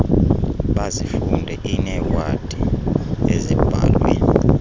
bazifunde iinewadi ezibhalwe